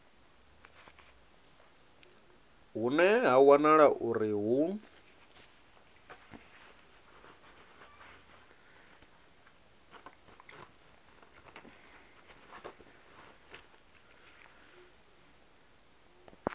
hune ha wanala uri hu